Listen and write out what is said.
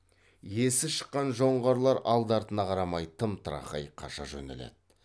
есі шыққан жоңғарлар алды артына қарамай тым тырақай қаша жөнеледі